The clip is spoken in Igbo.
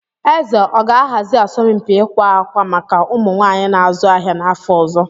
Eze ọ ga-ahazi asọmpi ịkwa akwa maka ụmụ nwanyị na-azu ahịa n'afọ ọzọ?